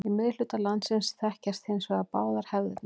Í miðhluta landsins þekkjast hins vegar báðar hefðirnar.